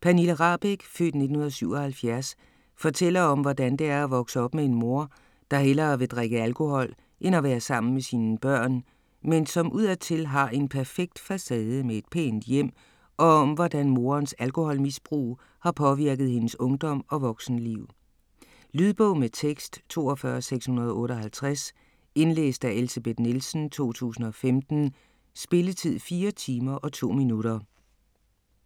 Pernille Rahbek (f. 1977) fortæller om, hvordan det er at vokse op med en mor, der hellere vil drikke alkohol end at være sammen med sine børn, men som udadtil har en perfekt facade med et pænt hjem, og om hvordan morens alkoholmisbrug har påvirket hendes ungdom og voksenliv. Lydbog med tekst 42658 Indlæst af Elsebeth Nielsen, 2015. Spilletid: 4 timer, 2 minutter.